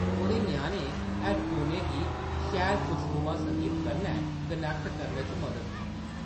ओह्‌दे ञ्याणें हैड्डफोनें गी शैल खुशनुमां संगीत कन्नै कनैक्ट करने च मदद कीती ।